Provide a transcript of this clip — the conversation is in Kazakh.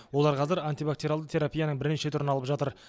олар қазір антибактериалды терапияның бірнеше түрін алып жатыр